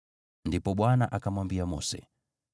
Ndipo Bwana akamwambia Mose,